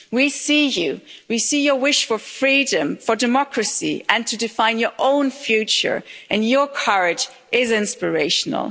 We see you, we see your wish for freedom, for democracy and to define your own future, and your courage is inspirational.